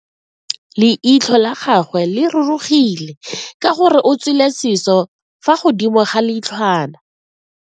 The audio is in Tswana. Leitlho la gagwe le rurugile ka gore o tswile siso fa godimo ga leitlhwana.